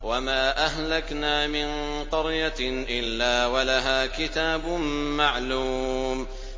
وَمَا أَهْلَكْنَا مِن قَرْيَةٍ إِلَّا وَلَهَا كِتَابٌ مَّعْلُومٌ